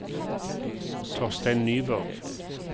Torstein Nyborg